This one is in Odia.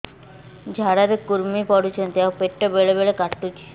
ଝାଡା ରେ କୁର୍ମି ପଡୁଛନ୍ତି ଆଉ ପେଟ ବେଳେ ବେଳେ କାଟୁଛି